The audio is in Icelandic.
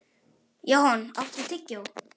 Johan, áttu tyggjó?